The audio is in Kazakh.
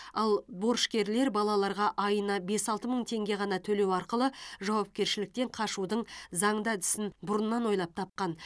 ал борышкерлер балаларға айына бес алты мың теңге ғана төлеу арқылы жауапкершіліктен қашудың заңды әдісін бұрыннан ойлап тапқан